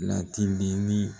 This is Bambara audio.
Ladili ni